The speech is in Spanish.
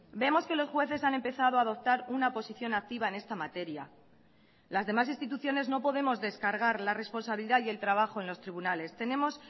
vemos que los jueces han empezado a adoptar una posición activa en esta materia las demás instituciones no podemos descargar la responsabilidad y el trabajo en los tribunales tenemos